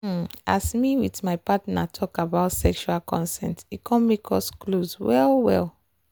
um as me with my partner talk about sexual consent e come make us close well well.